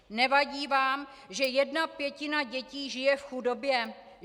Nevadí vám, že jedna pětina dětí žije v chudobě?